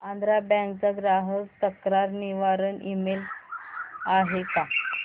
Andhra bank चा ग्राहक तक्रार निवारण ईमेल आहे का